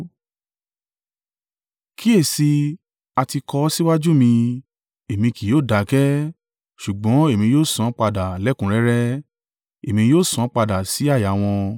“Kíyèsi i, a ti kọ ọ́ síwájú mi, Èmi kì yóò dákẹ́, ṣùgbọ́n èmi yóò san án padà lẹ́kùnrẹ́rẹ́; Èmi yóò san án padà sí àyà wọn